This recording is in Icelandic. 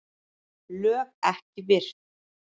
LÖG EKKI VIRT